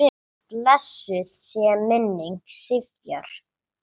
Blessuð sé minning Sifjar.